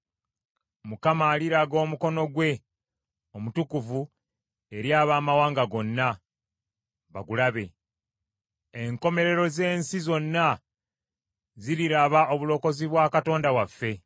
Mukama aliraga omukono gwe omutukuvu eri amawanga gonna, bagulabe. Enkomerero z’ensi zonna ziriraba obulokozi bwa Katonda waffe.